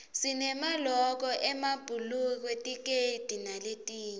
sinemaloko emabhulukwe tikedi naletinye